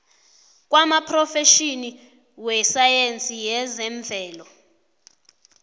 kwamaphrofetjhini wesayensi yezemvelo